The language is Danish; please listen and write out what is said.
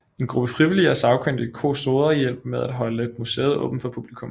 En gruppe frivillige og sagkyndige kustoder hjælper med at holde museet åbent for publikum